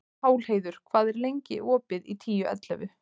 Pálheiður, hvað er lengi opið í Tíu ellefu?